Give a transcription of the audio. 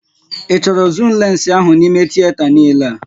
Ị chọrọ zuum lensị ahụ n'ímé tieta niile a?